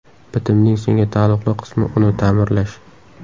Bitimning senga taalluqli qismi uni ta’mirlash.